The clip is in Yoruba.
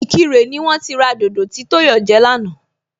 Ìkirè ni wón ti ra dodo tí Tóyọ̀ jẹ lánàá